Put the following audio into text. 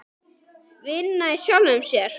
Vinna í sjálfum sér.